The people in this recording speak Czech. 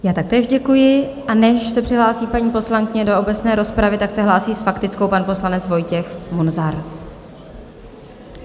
Já také děkuji, a než se přihlásí paní poslankyně do obecné rozpravy, tak se hlásí s faktickou pan poslanec Vojtěch Munzar.